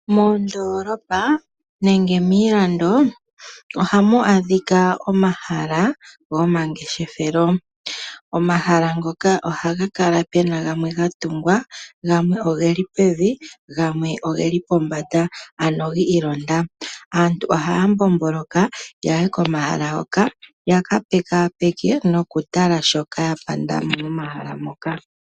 Moondoolopa nenge miilando ohamu adhika omahala gomangeshefelo. Omahala ngoka ohaga kala pena gamwe ga tungwa gamwe geli pevi go gamwe ogeli pombanda ano ga londathana. Aantu ohaya mbomboloka yaye komahala hoka ya ka pekapeke nokutala shoka ya pandamo momahala moka.